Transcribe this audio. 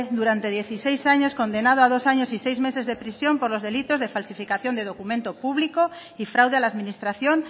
durante dieciséis años condenado a dos años y seis meses de prisión por los delitos de falsificación de documento público y fraude a la administración